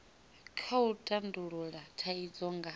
kha u tandulula thaidzo nga